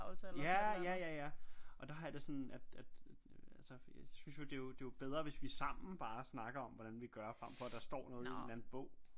Ja ja ja ja og der har jeg det sådan at altså jeg synes jo det er jo bedre hvis vi sammen bare snakker om hvordan vi gør frem for der står noget i en eller anden bog